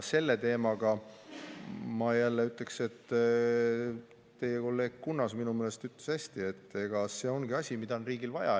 Selle teema kohta ma jälle ütleksin, et teie kolleeg Kunnas ütles minu meelest hästi, et see ongi asi, mida on riigil vaja.